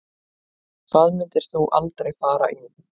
Hvað myndir þú aldrei fara í